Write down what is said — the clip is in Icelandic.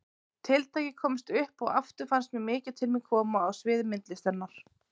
Tiltækið komst upp og aftur fannst mér mikið til mín koma á sviði myndlistarinnar.